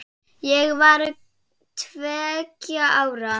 Ég var tveggja ára.